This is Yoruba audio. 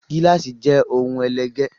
Gíláàsì jé òun ẹlẹgẹ